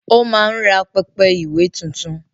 O máa ń rà pẹpẹ ìwé tuntun